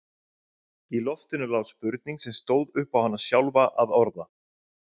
Í loftinu lá spurning sem stóð upp á hana sjálfa að orða.